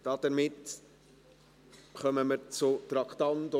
Damit kommen wir zu Traktandum 32.